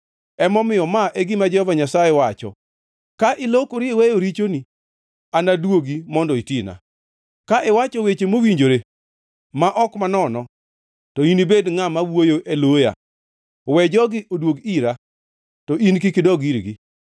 Emomiyo ma e gima Jehova Nyasaye wacho: “Ka ilokori iweyo richoni, anaduogi mondo itina; ka iwacho weche mowinjore, ma ok manono, to ni inibed ngʼat ma wuoyo e loya. We jogi oduog ira, to in kik idog irgi.